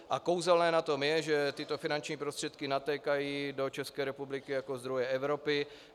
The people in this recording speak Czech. A kouzelné na tom je, že tyto finanční prostředky natékají do České republiky jako zdroje Evropy.